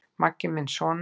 Maggi minn sona!